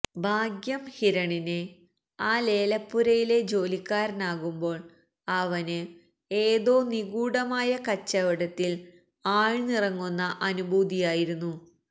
ഭാഗ്യം ഹിരണിനെ ആ ലേലപ്പുരയിലെ ജോലിക്കാരനാകുമ്പോൾ അവനു ഏതോ നിഗൂഢമായ കച്ചവടത്തിൽ ആഴ്ന്നിറങ്ങുന്ന അനുഭൂതിയായിരുന്നു